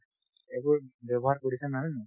এইবোৰ ব্যৱহাৰ কৰিছে নে নাই হয় নে নাই